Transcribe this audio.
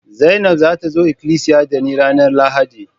Zainab za ta zo ikilisiya da ni ranan Lahadi.